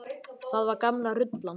Það var gamla rullan.